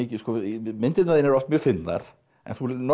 myndirnar þínar eru oft mjög fyndnar en þú